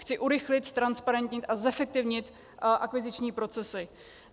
Chci urychlit, ztransparentnit a zefektivnit akviziční procesy.